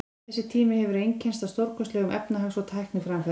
Þessi tími hefur einkennst af stórkostlegum efnahags- og tækniframförum.